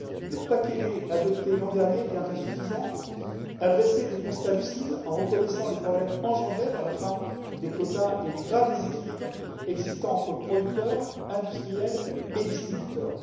Le paquet lait adopté l'an dernier, bien qu'insuffisant, a dressé des constats lucides en reconnaissant les problèmes engendrés par la fin des quotas et les graves déséquilibres entre producteurs, industriels et distributeurs.